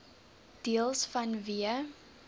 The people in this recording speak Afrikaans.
deels vanweë